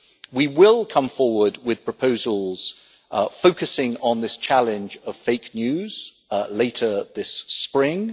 We will come forward with proposals focusing on this challenge of fake news later this spring.